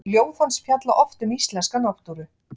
Ljóð hans fjalla oft um íslenska náttúru.